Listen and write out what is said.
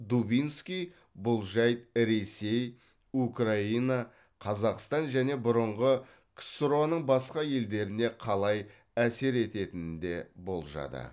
дубинский бұл жайт ресей украина қазақстан және бұрынғы ксро ның басқа елдеріне қалай әсер ететінін де болжады